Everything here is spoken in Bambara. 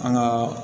An ka